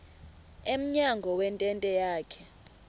emnyango wentente yakhe